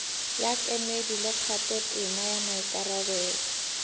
ya kemedi le kgathotema maikarabelo